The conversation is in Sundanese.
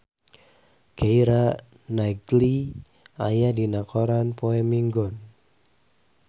Keira Knightley aya dina koran poe Minggon